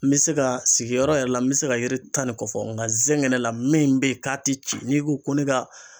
N be se ga sigiyɔrɔ yɛrɛ la n be se ga yiri tan nin kɔ fɔ nga zɛgɛnɛ yɛrɛ la min be yen k'a te ci n'i ko ko ne ka